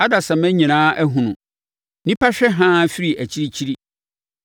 Adasamma nyinaa ahunu; nnipa hwɛ haa firi akyirikyiri.